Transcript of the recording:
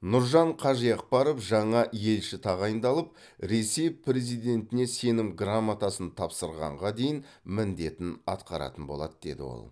нұржан қажиақбаров жаңа елші тағайындалып ресей президентіне сенім грамотасын тапсырғанға дейін міндетін атқаратын болады деді ол